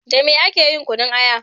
Da me ake yin kunun aya?